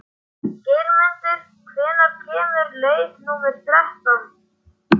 Geirmundur, hvenær kemur leið númer þrettán?